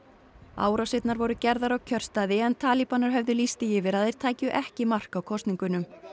árásirnar voru gerðar á kjörstaði en talibanar höfðu lýst því yfir að þeir tækju ekki mark á kosningunum